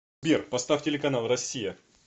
сбер поставь телеканал россия